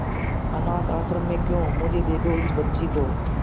अनाथ आश्रम में क्यों मुझे दे दे इस बच्ची को